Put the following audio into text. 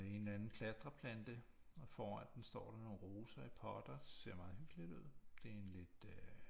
En eller anden klatreplante og foran dem står der nogle roser i potter ser meget hyggeligt ud det er en lidt øh